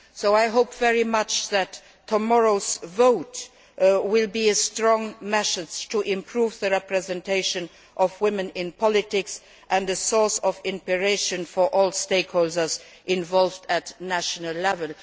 I hope very much that tomorrow's vote will be a strong message to improve the representation of women in politics and a source of inspiration for all stakeholders involved at national level.